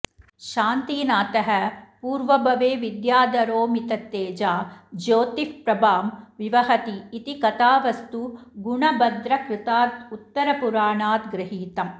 शान्तिनाथः पूर्वभवे विद्याधरोऽमिततेजा ज्योतिःप्रभां विवहति इति कथावस्तु गुणभद्रकृतादुत्तरपुराणाद् गृहीतम्